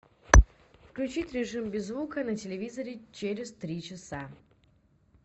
включить режим без звука на телевизоре через три часа